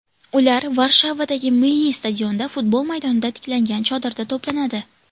Ular Varshavadagi Milliy stadionda, futbol maydonida tiklangan chodirda to‘planadi.